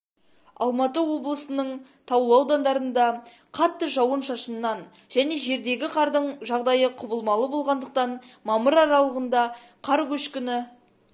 алматы облысының таулы аудандарында қатты жауын-шашыннан және жердегі қардың жағдайы құбылмалы болғандықтан мамыр аралығында қар көшкіні